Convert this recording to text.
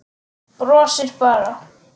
Brosir bara.